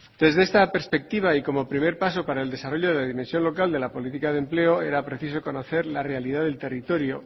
desde esta perspectiva y como primer paso para el desarrollo de la dimensión local de la política de empleo era preciso conocer la realidad del territorio